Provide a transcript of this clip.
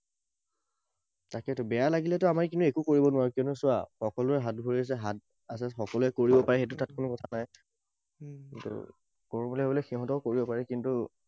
তাকেতো। বেয়া লাগিলেতো আমি কিন্তু একো কৰিব নোৱাৰোঁ, কিয়নো চোৱা, সকলোৰে হাত ভৰি আছে, হাত আছে, সকলোৱে কৰিব পাৰে সেইটো তাত কোনো কথা নাই। কিন্তু কৰোঁ বুলি কলে সিহঁতেও কৰিব পাৰে, কিন্তু